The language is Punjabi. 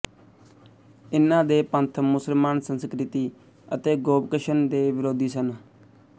ਇਨ੍ਹਾਂ ਦੇ ਪੰਥ ਮੁਸਲਮਾਨ ਸੰਸਕ੍ਰਿਤੀ ਅਤੇ ਗੋਭਕਸ਼ਣ ਦੇ ਵਿਰੋਧੀ ਸਨ